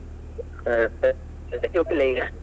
ಹಾ ಹಾ ಸದ್ಯಕ್ಕೆ ಉಡುಪಿಲಾ ಈಗ?